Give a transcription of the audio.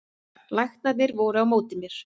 Læknarnir voru á móti mér